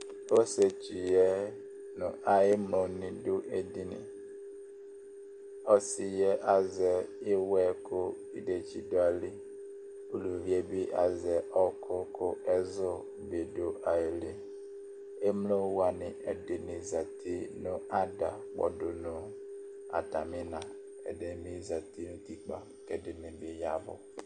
Ɔsietsuyɛ nʋ ayemloni ɖʋ ediniƆsiyɛ azɛ awuɛ kʋ iɖetsi ɖʋ ayili, Ulʋviɛbi azɛ kʋ ɛzu do ayiliEmlowani ɛɖini zaati nʋ ada kpɔɖʋ nɔ atamina ɛɖini zati nʋ utikpa k'ɛɖini yaɛvu